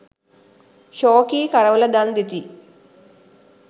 ශෝකී කරවල දන් දෙති.